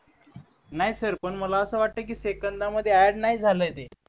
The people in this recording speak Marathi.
नाही सर पण मला असं वाटतंय की सेकंदांमध्ये ऍड नाही झालय ते